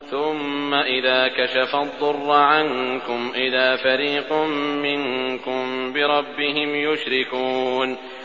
ثُمَّ إِذَا كَشَفَ الضُّرَّ عَنكُمْ إِذَا فَرِيقٌ مِّنكُم بِرَبِّهِمْ يُشْرِكُونَ